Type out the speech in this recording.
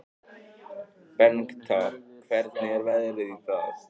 Bengta, hvernig er veðrið í dag?